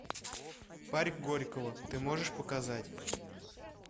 парк горького ты можешь показать